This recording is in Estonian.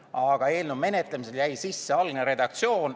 Aga eelnõu menetlemisel jäi sisse algne redaktsioon.